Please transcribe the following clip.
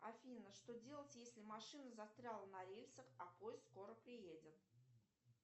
афина что делать если машина застряла на рельсах а поезд скоро приедет